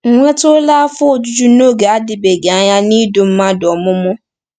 Ị nwetụla afọ ojuju n’oge na-adịbeghị anya n’ịdu mmadụ ọmụmụ?